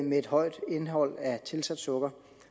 med et højt indhold af tilsat sukker